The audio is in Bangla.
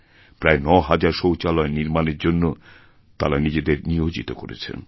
প্রায় নহাজারশৌচালয় নির্মাণের জন্য তাঁরা নিজেদের নিয়োজিত করেছেন